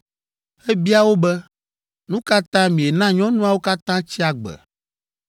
Ebia wo be, “Nu ka ta miena nyɔnuawo katã tsi agbe?